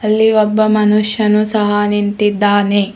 ಇಲ್ಲಿ ಒಬ್ಬ ಮನುಷ್ಯನು ಸಹ ನಿಂತಿದ್ದಾನೆ.